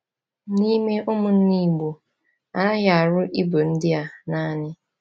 N’ime ụmụnna Igbo, a naghị arụ ibu ndị a naanị.